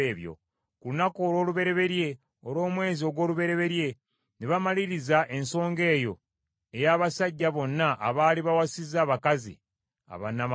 ku lunaku olw’olubereberye olw’omwezi ogw’olubereberye ne bamaliriza ensonga eyo ey’abasajja bonna abaali bawasizza abakazi abannamawanga.